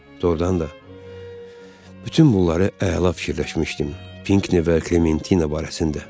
Doğrudan da bütün bunları əla fikirləşmişdim, Pinkne və Klementina barəsində.